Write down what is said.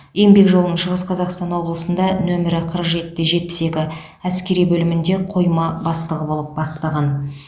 еңбек жолын шығыс қазақстан облысында нөмірі қырық жеті де жетпіс екі әскери бөлімде қойма бастығы болып бастаған